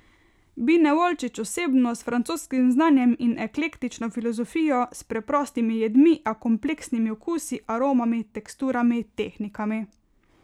Bine Volčič osebno, s francoskim znanjem in eklektično filozofijo, s preprostimi jedmi, a kompleksnimi okusi, aromami, teksturami, tehnikami.